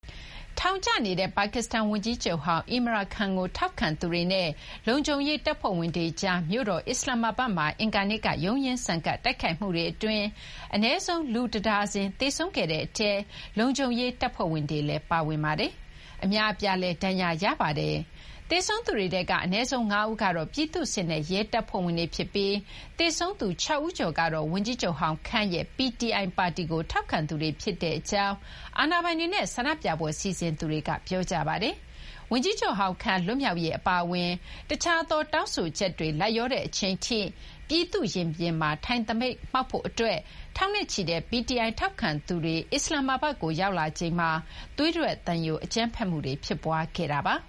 ထောင်ကျနေတဲ့ ပါကစ္စတန် ဝန်ကြီးချုပ်ဟောင်း Imran Khan ကို ထောက်ခံသူတွေနဲ့ လုံခြုံရေး တပ်ဖွဲ့ဝင်တွေကြား မြို့တော် အစ္စလာမ္မာဘတ်မှာ အင်္ဂါနေ့က ရုန်းရင်းဆန်ခတ် တိုက်ခိုက်မှုအတွင်း အနည်းဆုံး လူ တဒါဇင် သေဆုံးခဲ့တဲ့ အထဲမှာ လုံခြုံရေး တပ်ဖွဲ့ဝင်တွေလည်း ပါဝင်ပါတယ်။ အများအပြားလည်း ဒဏ်ရာရရှိခဲ့ပါတယ်။ သေဆုံးသူတွေထဲက အနည်းဆုံး ၅ ဦးကတော့ ပြည်သူ့စစ်နဲ့ ရဲတပ်ဖွဲ့ဝင်တွေ ဖြစ်ပြီး သေဆုံးသူ ၆ ဦးကျော်ကတော့ ဝန်ကြီးချုပ်ဟောင်း Khan ရဲ့ PTI ပါတီကို ထောက်ခံသူတွေ ဖြစ်ကြောင်း အာဏာပိုင်တွေနဲ့ ဆန္ဒပြပွဲ စီစဉ်သူတွေက ပြောကြပါတယ်။ ဝန်ကြီးချုပ်ဟောင်း Khan လွတ်မြောက်ရေး အပါအဝင် တခြားသော တောင်းဆိုချက်တွေ လိုက်လျောတဲ့ အချိန်ထိ ပြည်သူ့ရင်ပြင်မှာ ထိုင်သပိတ်မှောက် ဖို့ အတွက် ထောင်နဲ့ချီတဲ့ PTI ထောက်ခံသူတွေ အစ္စလာမ္မာဘတ်ကို ရောက်လာချိန်မှာ သွေးထွက်သံယို အကြမ်းဖက်မှုတွေ ဖြစ်ခဲ့တာပါ။